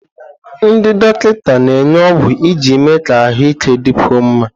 Ndị dọkịta na-enye ọgwụ iji mee ka ahụike dịkwuo mma.